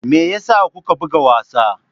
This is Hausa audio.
Me yasa kuka buga wasa?